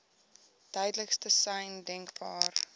duidelikste sein denkbaar